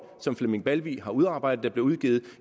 som flemming balvig har udarbejdet blev udgivet